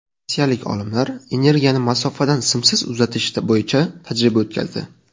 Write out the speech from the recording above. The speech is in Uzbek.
Rossiyalik olimlar energiyani masofadan simsiz uzatish bo‘yicha tajriba o‘tkazdi.